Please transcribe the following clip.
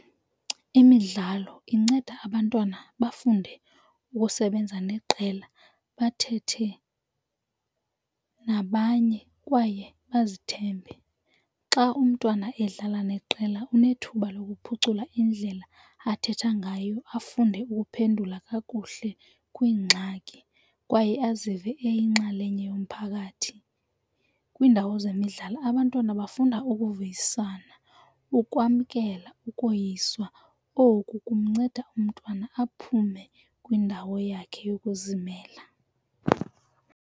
Imidlalo inceda abantwana bafunde ukusebenza neqela, bathethe nabanye kwaye bazithembe. Xa umntwana edlala neqela unethuba lokuphucula indlela athetha ngayo afunde ukuphendula kakuhle kwiingxaki kwaye azive eyinxalenye yomphakathi. Kwiindawo zemidlalo abantwana bafunda ukuvuyisana, ukwamkela ukoyiswa oku kumnceda umntwana aphume kwiindawo yakhe yokuzimela.